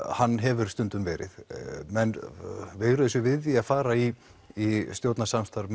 hann hefur stundum verið menn veigruðu sér við því að fara í í stjórnarsamstarf